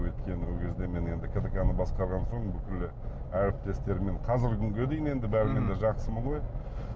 өйткені ол кезде мен енді ктк ны басқарған соң бүкілі әріптестермен қазіргі күнге дейін енді бәрімен де жақсымын ғой